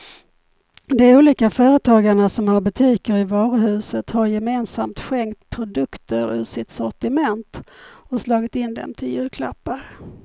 De olika företagarna som har butiker i varuhuset har gemensamt skänkt produkter ur sitt sortiment och slagit in dem till julklappar.